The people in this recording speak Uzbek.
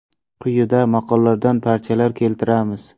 Quyida maqoladan parchalar keltiramiz.